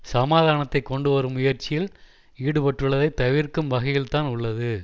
சமாதானத்தை கொண்டுவரும் முயற்சியில் ஈடுபட்டுள்ளதை தவிர்க்கும் வகையில்தான் உள்ளது